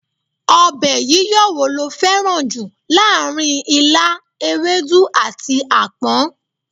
Ọbẹ̀ yíyọ wo lo fẹ́ràn jù láàárín ilá, ewedu, àti apon?